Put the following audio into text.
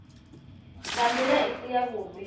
nga ndila i si yavhudi